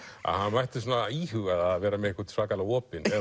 að hann mætti íhuga það að vera með einhvern svakalega opinn ef